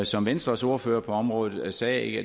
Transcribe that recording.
som venstres ordfører på området sagde